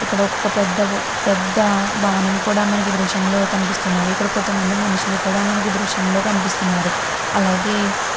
ఇక్కడ ఒక పెద్ద పెద్ద భవనము కూడా మనకి ఈ దృశ్యం లో కనిపిస్తున్నవి ఇక్కడ కొంతమంది మనుషులు కూడా మనకి ఈ దృశ్యం లో కనిపిస్తున్నారు అలాగే --